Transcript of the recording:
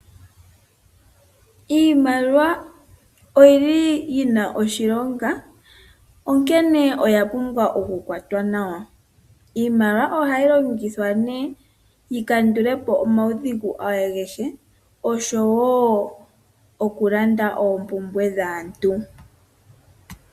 Iimaliwa oyili yina oshilonga onkene oya pumbwa oku kwatwa nawa, iimaliwa ohayi longithwa nee yi kandule po omaudhigu agahe oshowo okulanda oompumbwe dhaantu.